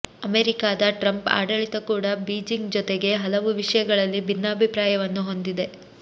ಅಮೆರಿಕಾದ ಟ್ರಂಪ್ ಆಡಳಿತ ಕೂಡ ಬೀಜಿಂಗ್ ಜೊತೆಗೆ ಹಲವು ವಿಷಯಗಳಲ್ಲಿ ಭಿನ್ನಾಭಿಪ್ರಾಯವನ್ನು ಹೊಂದಿದೆ